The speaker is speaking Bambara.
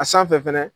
A sanfɛ fɛnɛ